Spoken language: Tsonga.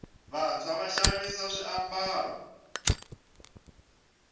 vantswa va xavisa swambalo